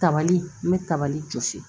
Tabali n bɛ tabali jɔsi